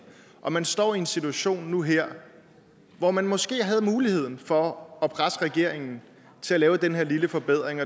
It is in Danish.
og man står i en situation nu og her hvor man måske har muligheden for at presse regeringen til at lave den her lille forbedring